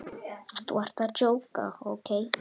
Þú ert að djóka, ókei?